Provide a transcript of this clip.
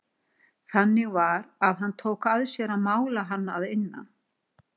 Þannig var að hann tók að sér að mála hann að innan.